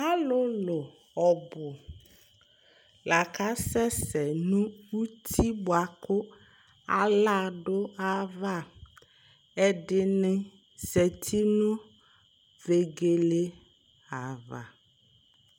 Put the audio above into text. alolo ɔbo la kasɛ sɛ no uti boa ko ala do ayi ava ɛdini zati no vegele ava